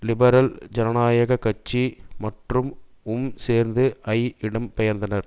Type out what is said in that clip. liberal ஜனநாயக கட்சி மற்றும் உம் சேர்ந்து ஜ இடம் பெயர்த்தனர்